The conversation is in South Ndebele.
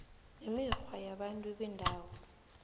nemikghwa yabantu bendawo